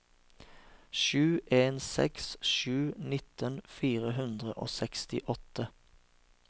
sju en seks sju nitten fire hundre og sekstiåtte